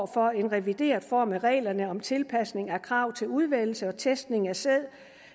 for en revideret form af reglerne om tilpasning af krav til udvælgelse og testning af sæd